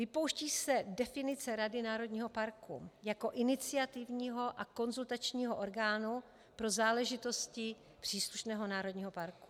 Vypouští se definice rady národního parku jako iniciativního a konzultačního orgánu pro záležitosti příslušného národního parku.